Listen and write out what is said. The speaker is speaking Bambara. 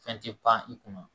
Fɛn tɛ pan i kunna